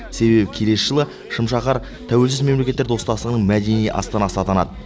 себебі келесі жылы шымшаһар тәуелсіз мемлекеттер достастығының мәдени астанасы атанады